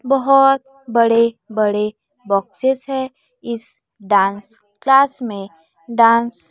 बहोत बड़े बड़े बॉक्सेस है इस डांस क्लास में डांस --